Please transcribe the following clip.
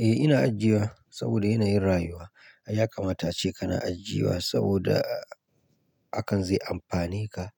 Eh ina ajiyewa saboda yanayin rayuwa. Ya kamata ace kana ajiyewa saboda hakan zai amfane ka